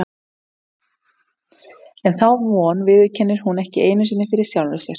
En þá von viðurkennir hún ekki einu sinni fyrir sjálfri sér.